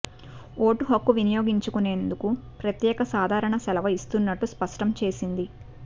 vote హక్కు వినియోగించుకునేందుకు ప్రత్యేక సాధారణ సెలవు ఇస్తున్నట్లు స్పష్టం చేసింది